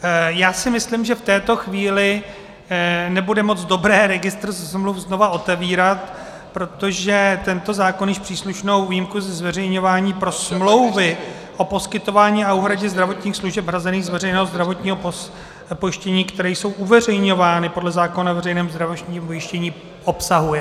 Já si myslím, že v této chvíli nebude moc dobré registr smluv znovu otevírat, protože tento zákon již příslušnou výjimku ze zveřejňování pro smlouvy o poskytování a úhradě zdravotních služeb hrazených z veřejného zdravotního pojištění, které jsou uveřejňovány podle zákona o veřejném zdravotním pojištění, obsahuje.